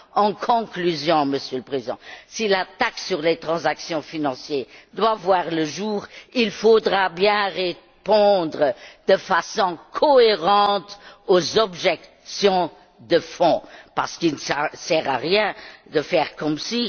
En conclusion, Monsieur le Président, si la taxe sur les transactions financières doit voir le jour, il faudra bien répondre de façon cohérente aux objections de fond parce qu'il ne sert à rien de faire comme si